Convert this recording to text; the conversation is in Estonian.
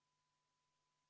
V a h e a e g